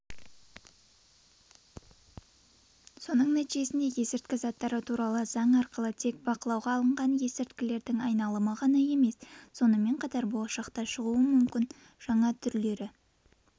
соның нәтижесінде есірткі заттары туралы заң арқылы тек бақылауға алынған есірткілердің айналымы ғана емес сонымен қатар болашақта шығуы мүмкін жаңа түрлері